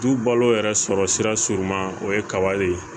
Du balo yɛrɛ sɔrɔ sira surunman o ye kaba ye